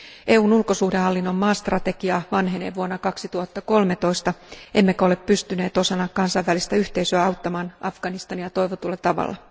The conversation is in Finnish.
EUn ulkosuhdehallinnon maastrategia vanhenee vuonna 2013, emmekä ole pystyneet osana kansainvälistä yhteisöä auttamaan Afganistania toivotulla tavalla.